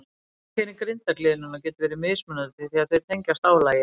Einkenni grindargliðnunar geta verið mismunandi því að þau tengjast álagi.